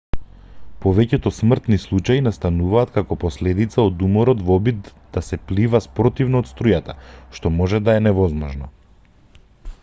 повеќето смртни случаи настануваат како последица од уморот во обидот да се плива спротивно од струјата што може да е невозможно